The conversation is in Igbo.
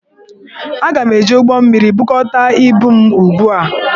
Aga m eji ụgbọmmiri, bukọta ibu m ugbu a!